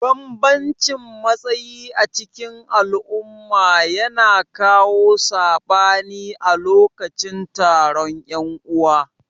Banbamcin matsayi acikin al'umma ya kawo sabani a lokacin taron yan'uwa.